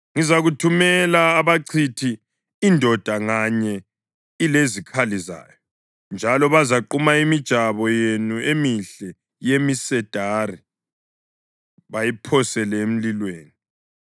Ngizakuthumela abachithi, indoda nganye ilezikhali zayo, njalo bazaquma imijabo yenu emihle yemisedari bayiphosele emlilweni.